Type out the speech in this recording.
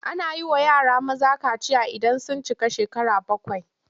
Ana yi wa yara maza kaciya idan sun cika shekara bakwai.